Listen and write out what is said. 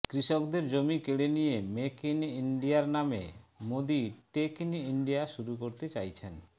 কৃষকদের জমি কেড়ে নিয়ে মেক ইন ইন্ডিয়ার নামে মোদী টেক ইন ইন্ডিয়া শুরু করতে চাইছেন